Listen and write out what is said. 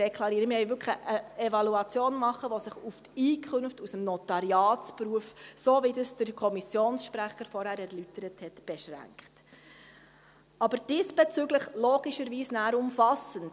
Wir wollen wirklich eine Evaluation machen, die sich auf die Einkünfte aus dem Notariatsberuf beschränkt, so wie das der Kommissionssprecher vorhin erläutert hat – aber diesbezüglich dann logischerweise umfassend.